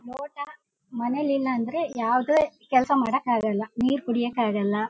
ಲೋಟ ಮನೇಲಿ ಇಲ್ಲ ಅಂದ್ರೆ ಯಾವದೇ ಕೆಲಸ ಮಾಡೋಕ್ಕೆ ಆಗೋಲ್ಲ. ನೀರು ಕುಡಿಯೋಕ್ಕೆ ಆಗೋಲ್ಲ--